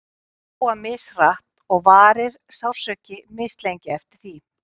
Bein gróa mishratt og varir sársauki mislengi eftir því.